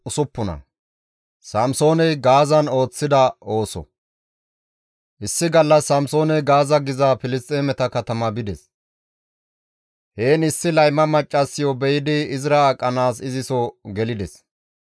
Issi gallas Samsooney Gaaza giza Filisxeemeta katama bides; heen issi layma maccassiyo be7idi izira aqanaas iziso gelides.